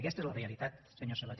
aquesta és la realitat senyor sabaté